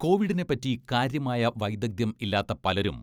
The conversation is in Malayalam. കോവിഡിനെപ്പറ്റി കാര്യമായ വൈദഗ്ദ്ധ്യം ഇല്ലാത്ത പലരും